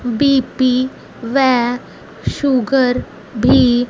B P व sugar भी--